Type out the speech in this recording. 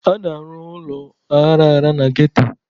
A na-arụ ụlọ aghara aghara na geto.